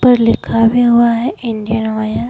पर लिखा भी हुआ है इंडियन।